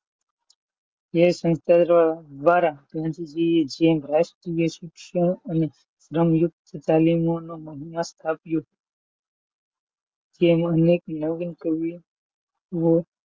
એ સંસ્થા દવારા ગાંધીજી એ રાષ્ટ્રીય શિક્ષણ અને જ્ઞાન યુક્ત તાલીમ મો મહિમાં સ્થપીઓ તેમાં અનેક નવા નવા કવિઓનો,